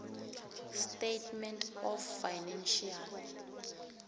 statement of financial